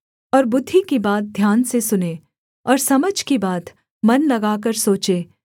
और बुद्धि की बात ध्यान से सुने और समझ की बात मन लगाकर सोचे